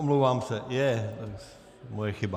Omlouvám se, Junka, moje chyba.